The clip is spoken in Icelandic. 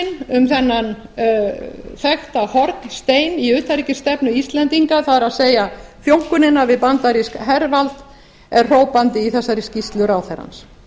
um þennan þekkta hornstein í utanríkisstefnu íslendinga það er þjónkunina við bandarískt hervald er hrópandi í þessari skýrslu ráðherrans